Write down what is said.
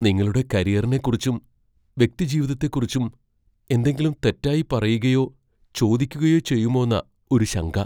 നിങ്ങളുടെ കരിയറിനെ കുറിച്ചും വ്യക്തിജീവിതത്തെ കുറിച്ചും എന്തെങ്കിലും തെറ്റായി പറയുകയോ ചോദിക്കുകയോ ചെയ്യുമോന്നാ ഒരു ശങ്ക.